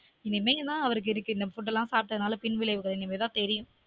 இனிமே தான் அவருக்கு இந்த food லான் சாப்டதுனால பின் விளைவுகள் இனிமே தான் தெரியும்